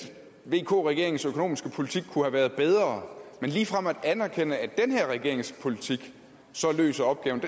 at vk regeringens økonomiske politik kunne have været bedre men ligefrem at anerkende at den her regerings politik løser opgaven